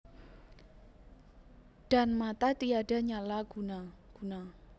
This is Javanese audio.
Dan mata tiada nyala guna guna